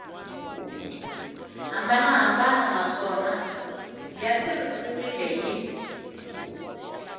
hambanahambana naswona ya tirhisiwile hi